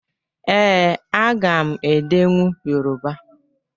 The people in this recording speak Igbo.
Ee, aga m edenwu Yoruba.